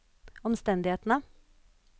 omstendighetene